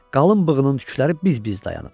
Qalın bığının tükləri biz-biz dayanıb.